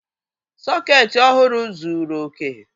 Sọọ̀kétí ọhụrụ zuru oke